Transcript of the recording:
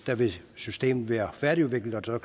der vil systemet være færdigudviklet og